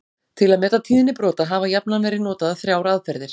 Til að meta tíðni brota hafa jafnan verið notaðar þrjár aðferðir.